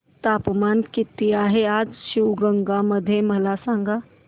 तापमान किती आहे आज शिवगंगा मध्ये मला सांगा